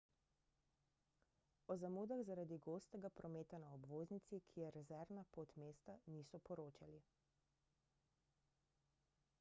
o zamudah zaradi gostega prometa na obvoznici ki je rezervna pot mesta niso poročali